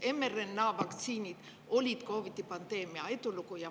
mRNA-vaktsiinid olid COVID-i pandeemia edulugu.